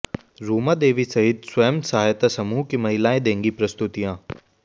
रूमा देवी सहित स्वयं सहायता समूह की महिलाएं देंगी प्रस्तुतियां